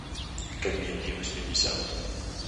комедии восьмидесятых